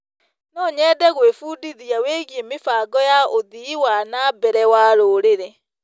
No nyende gwĩbundithia wĩgiĩ mĩbango ya ũthii wa na mbere wa rũrĩrĩ.